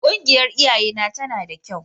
Ƙungiyar iyayena tana da kyau.